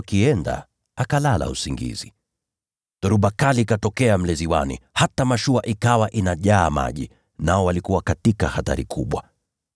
Hivyo walipokuwa wakienda, akalala usingizi. Dhoruba kali ikatokea mle ziwani, hata mashua ikawa inajaa maji, nao walikuwa katika hatari kubwa.